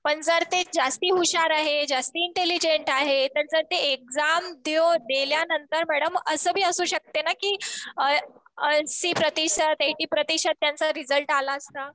पण जर ते जास्ती हुशार आहे. जास्ती इंटेलिजेंट आहे. तर जर ते एक्झाम दिल्यानंतर मॅडम असं बी असू शकते ना कि ऐंशी प्रतिशत एटी प्रतिशत त्यांचा रिजल्ट आला असता.